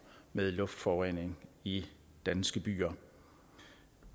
med luftforurening i danske byer